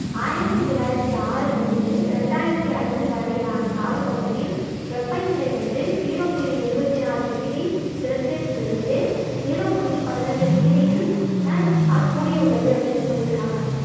ஆயிரத்தி தொள்ளாயிரத்தி ஆறில் இருந்து ரெண்டாயிரத்தி ஐந்து வரையிலான காலப்பகுதியில் வெப்பநிலை வந்து ஜீரோ புள்ளி எழுவத்தி நாலு டிகிரி செல்சியஸில் இருந்து ஜீரோ புள்ளி பதினெட்டு டிகிரியில் அஹ் ஆல் கூடியுள்ளது அப்படின்னு சொல்லி இருக்காங்க.